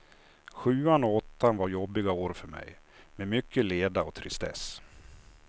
Sjuan och åttan var jobbiga år för mig, med mycket leda och tristess.